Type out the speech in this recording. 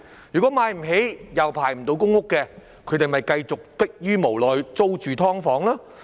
如果買不起，又未輪候到公屋，他們便要逼於無奈繼續租住"劏房"。